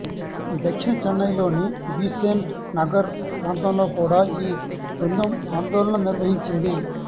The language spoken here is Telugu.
దక్షిణ చెన్నైలోని బీసెంట్ నగర్ ప్రాంతంలో కూడా ఈ బృందం ఆందోళన నిర్వహించింది